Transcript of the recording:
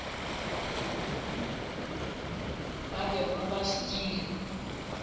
ba bego ba se dira